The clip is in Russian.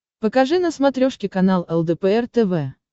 покажи на смотрешке канал лдпр тв